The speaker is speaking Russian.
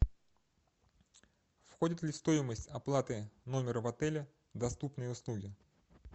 входит ли в стоимость оплаты номера в отеле доступные услуги